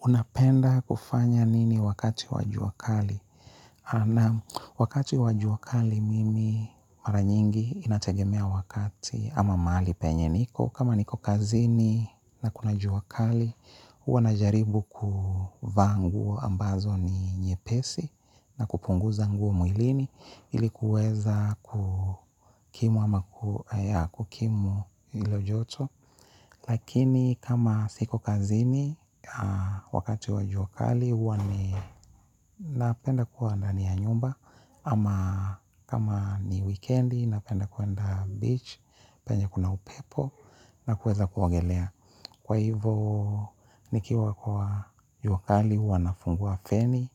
Unapenda kufanya nini wakati wa jua kali? Nam wakati wa jua kali mimi mara nyingi inategemea wakati ama mahali penye niko. Kama niko kazini na kuna jua kali, huwa najaribu kuvaa nguo ambazo ni nyepesi na kupunguza nguo mwilini. Ili kuweza kukimu ama kukimu hilo joto. Lakini kama siko kazini wakati wa jua kali huwa ninapenda kuwa ndani ya nyumba ama kama ni wikendi napenda kuenda beach penye kuna upepo na kuweza kuogelea. Kwa hivo, nikiwa kwa juakali, huwa nafungua feni,